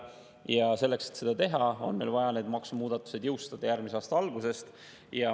Ja selleks, et seda teha, on meil vaja need maksumuudatused jõustada järgmise aasta algusest.